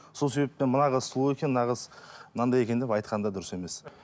сол себептен мына қыз сұлу екен мына қыз мынандай екен деп айтқан да дұрыс емес